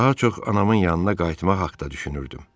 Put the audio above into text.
Daha çox anamın yanına qayıtmaq haqqda düşünürdüm.